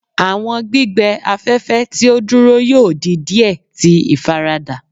Awọn gbigbẹ afẹfẹ ti o duro yoo di diẹ ti ifarada